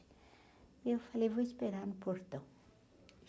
E eu falei, vou esperar no portão.